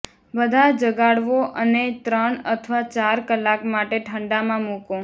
બધા જગાડવો અને ત્રણ અથવા ચાર કલાક માટે ઠંડા માં મૂકો